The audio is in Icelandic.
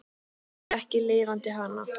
Ég meinti ekki LIFANDI HANA.